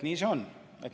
Nii see on.